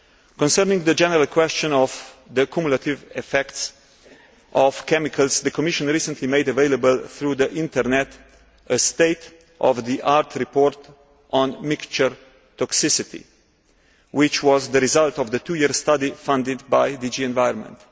Concerning the general question of the cumulative effects of chemicals, the Commission recently made available through the Internet a state of the art report on mixture toxicity which was the result of the two year study funded by DG Environment.